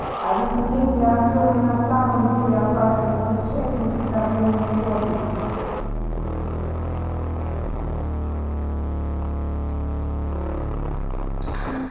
а ведь если артём и на самом деле окажется причастен к вторжению чёрных